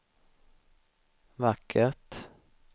vackert